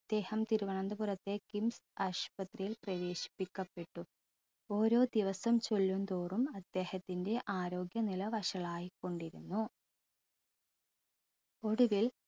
അദ്ദേഹം തിരുവനന്തപുരത്തെ കിംസ് ആശുപത്രിയിൽ പ്രവേശിപ്പിക്കപ്പെട്ടു ഓരോ ദിവസം ചെല്ലുംതോറും അദ്ദേഹത്തിൻറെ ആരോഗ്യനില വഷളായിക്കൊണ്ടിരുന്നു ഒടുവിൽ